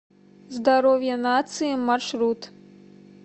здоровье нации маршрут